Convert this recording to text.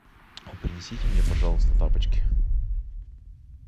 а принесите мне пожалуйста тапочки